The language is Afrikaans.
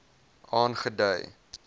aangedui